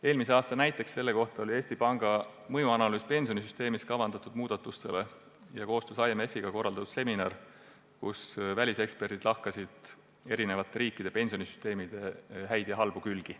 Eelmise aasta näiteks selles vallas oli Eesti Panga mõjuanalüüs pensionisüsteemis kavandatavate muudatuste kohta ning koostöös IMF-iga korraldatud seminar, kus väliseksperdid lahkasid eri riikide pensionisüsteemide häid ja halbu külgi.